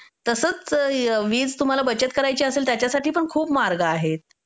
तसंच वीज तुम्हाला बचत करायची असेल त्याच्यासाठी पण खूप मार्ग आहेत.